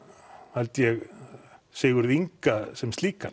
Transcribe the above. held ég Sigurð Inga sem slíkan